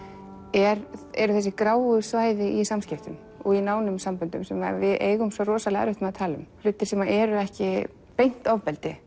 eru eru þessu gráu svæði í samskiptum og í nánum samböndum sem við eigum svo erfitt með að tala um hlutir sem eru ekki beint ofbeldi